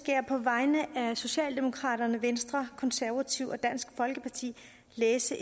jeg på vegne af socialdemokraterne venstre konservative og dansk folkeparti læse